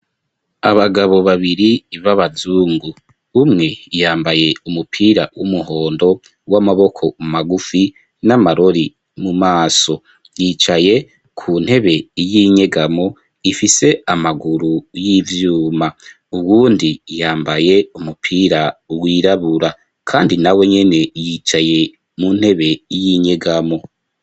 Abagabo babiri, b'abazungu; umwe, yambaye umupira, w'umuhondo, w'amaboko magufi, n'amarori mu maso; yicaye ku ntebe, y'inyegamo, ifise amaguru, y'ivyuma; uwundi, yambaye umupira, wirabura, kandi nawe nyene, yicaye mu ntebe, y'inyegamo.